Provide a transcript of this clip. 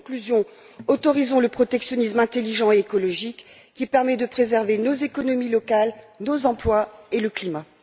En conclusion, autorisons le protectionnisme intelligent et écologique qui permet de préserver nos économies locales, nos emplois et le climat.